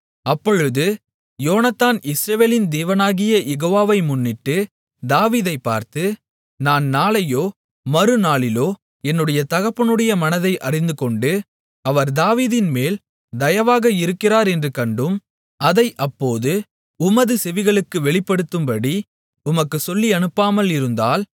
அப்பொழுது யோனத்தான் இஸ்ரவேலின் தேவனாகிய யெகோவாவை முன்னிட்டு தாவீதைப் பார்த்து நான் நாளையோ மறுநாளிலோ என்னுடைய தகப்பனுடைய மனதை அறிந்துகொண்டு அவர் தாவீதின்மேல் தயவாக இருக்கிறார் என்று கண்டும் அதை அப்போது உமது செவிகளுக்கு வெளிப்படுத்தும்படி உமக்குச் சொல்லியனுப்பாமலிருந்தால்